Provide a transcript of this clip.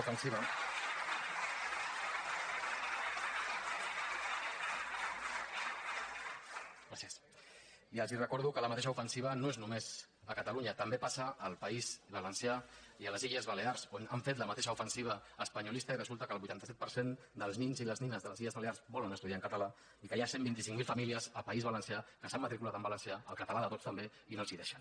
gràcies i els recordo que la mateixa ofensiva no és només a catalunya també passa al país valencià i a les illes balears on han fet la mateixa ofensiva espanyolista i resulta que el vuitanta set per cent dels nins i les nines de les illes balears volen estudiar en català i que hi ha cent i vint cinc mil famílies al país valencià que s’han matriculat en valencià el català de tots també i no els deixen